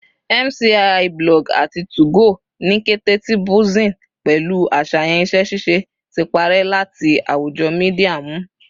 MCIIBlog ati 2go, ni kete ti buzzing pẹlu aṣayan iṣẹ-ṣiṣe, ti parẹ lati awujo media nmu